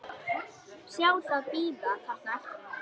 Sjá það bíða þarna eftir henni.